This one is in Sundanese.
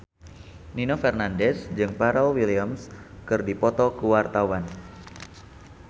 Nino Fernandez jeung Pharrell Williams keur dipoto ku wartawan